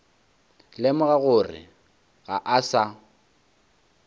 lemoga gore ga a sa